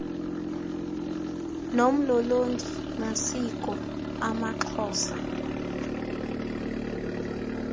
nomlolongi masiko amaxhosa